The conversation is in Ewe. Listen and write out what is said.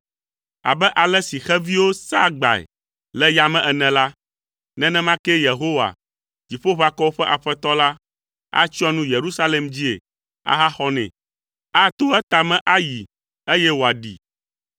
Abe ale si xeviwo saa agbae le yame ene la, nenema kee Yehowa, Dziƒoʋakɔwo ƒe Aƒetɔ la, atsyɔ nu Yerusalem dzie ahaxɔ nɛ. Ato etame ayi eye wòaɖee.”